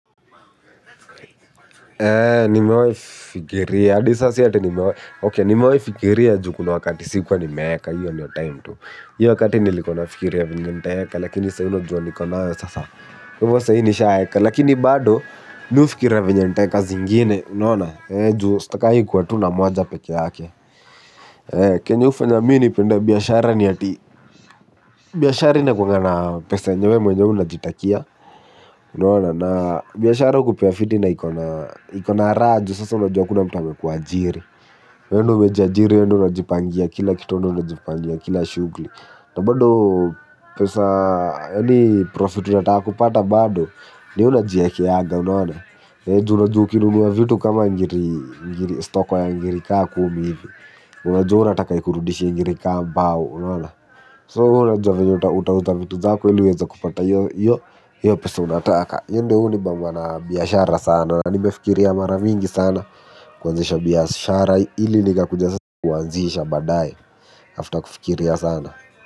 Nimewahi fikiria, hadi sasa si ati nimewahi okay nimewaifikiria juu kuna wakati sikuwa nimeweka, hiyo ndio time tu. Hiyo wakati nilikuwa nafiikiria venye ntaeka, lakini sahii unajua niko nayo sasa. Kwa hivo saa hii nishaeka, lakini bado mimi hufikiria venye ntaeka zingine, unaona? Eeh juu, sitakangi kuwa tu na moja pekee yake. Kenye hufanya mimi nipende biashara ni ati. Biashara inakuwanga na pesa yenye wewe mwenyewe unajitakia unaona. Na biashara hukupea fiti na iko na raha juu sasa unajua hakuna mtu amekuajiri. Wewe ndio umejiajiri, wewe ndio unajipangia kila kitu we ndio unajipangia kila shughuli. Na bado pesa, yaani profit unataka kupata bado, ni we unajiekeanga, unaona? Juu unajua ukinunua vitu kama ngiri, stoko ya ngiri kama kumi hivi. Unajua unataka ikurudishie ngiri kama mbao, unaona? So wewe unajua venye utauza vitu zako, ili uweze kupata hiyo, hiyo pesa unataka. Hiyo ndio huwa hunibamba na biashara sana. Na nimefikiria mara mingi sana kuanzisha biashara ili nikakuja sasa kuanzisha baadae after kufikiria sana.